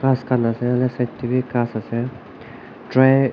iska nazara side teh bhi ghass ase try--